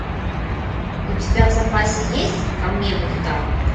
у тебя в запасе есть ко мне мухтар